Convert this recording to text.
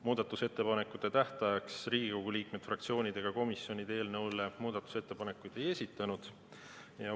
Muudatusettepanekute tähtajaks Riigikogu liikmed, fraktsioonid ega komisjonid eelnõu kohta muudatusettepanekuid ei esitanud.